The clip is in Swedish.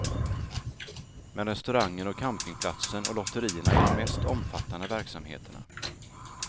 Men restaurangen och campingplatsen och lotterierna är de mest omfattande verksamheterna.